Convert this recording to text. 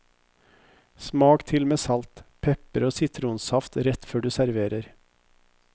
Smak til med salt, pepper og sitronsaft rett før du serverer.